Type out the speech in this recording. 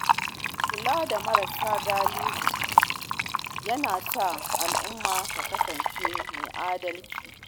Kula da marasa galihu yana sa al’umma ta kasance mai adalci.